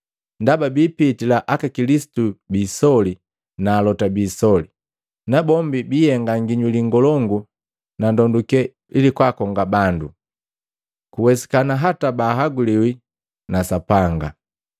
Ndaba biipitila aka Kilisitu biisoli na alota biisoli. Nabombi biihenga nginyuli ngolongu na ndonduke ili kwaakonga bandu kuwesikana hata bahaguliwi na Sapanga.